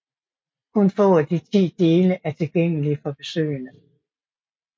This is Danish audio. Kun få af de ti dele er tilgængelige for besøgende